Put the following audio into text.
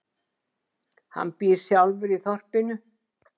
Hann býr sjálfur í þorpinu.